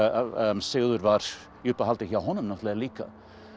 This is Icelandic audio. Sigurður var í uppáhaldi hjá honum líka